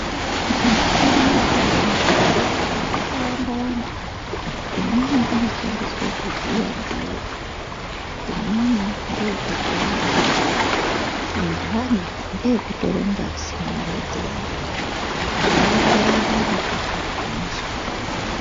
Muchini yadzara muzvibhendleyamwo yakawanda wanda. Imweni inoshandiswa kuvhiyaa ndiyo. Imweni ngeyekuvheneka. Inhani ngeyekutora ngazi mumwiri dzeantu. Zveienderana nekuti unozwei.